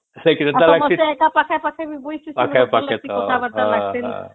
ପାଖେ ପାଖେ ବସିଚେ ଆଉ କଥା ବାର୍ତ୍ତା ବି ଲାଗିଁସେ